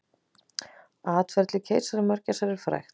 Atferli keisaramörgæsar er frægt.